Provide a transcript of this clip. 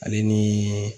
Ale ni